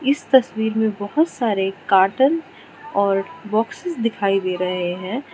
इस तस्वीर में बहोत सारे कार्टन और बॉक्स दिखाई दे रहे हैं।